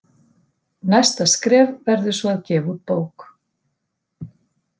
Næsta skref verður svo að gefa út bók.